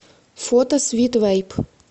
фото свит вэйп